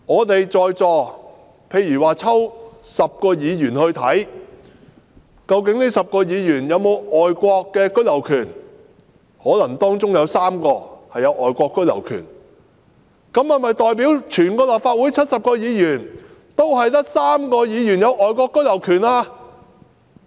例如抽10位立法會議員檢查他們有否外國居留權，可能當中有3位擁有外國居留權，但這樣是否代表立法會全數70位議員中就只有3位議員擁有外國居留權呢？